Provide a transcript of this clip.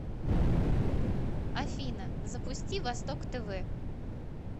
афина запусти восток тв